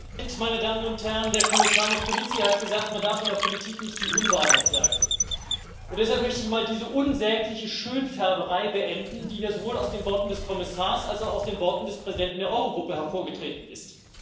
Herr Präsident, meine Damen und Herren! Der Kommissar Moscovici hat gesagt Man darf in der Politik nicht die Unwahrheit sagen, und deshalb möchte ich mal diese unsägliche Schönfärberei beenden, die hier sowohl aus den Worten des Kommissars als auch aus den Worten des Präsidenten der Euro Gruppe hervorgetreten ist.